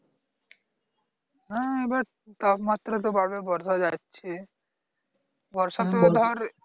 হ্যাঁ এবার তাপমাত্রা তো বাড়বে বোঝা যাচ্ছে বর্ষা তো ধর